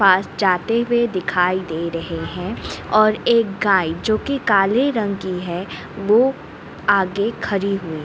पास जाते हुए दिखाई दे रहे हैं और एक गाय जो कि काले रंग की है वो आगे खड़ी हुई।